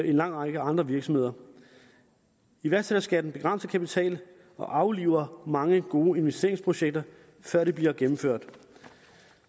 en lang række andre virksomheder iværksætterskatten begrænser kapital og afliver mange gode investeringsprojekter før de bliver gennemført